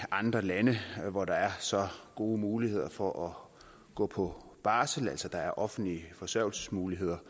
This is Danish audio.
andre lande hvor der er så gode muligheder for at gå på barsel altså der er offentlige forsørgelsesmuligheder